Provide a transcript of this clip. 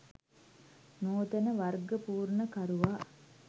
නූතන වර්ගපූර්ණකරුවා